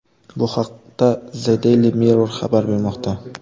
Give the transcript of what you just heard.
Bu haqda The Daily Mirror xabar bermoqda .